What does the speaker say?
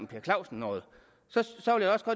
per clausen noget så